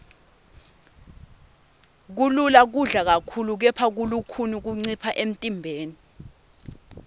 kulula kudla kakhulu kepha kulukhuni kuncipha emntimbeni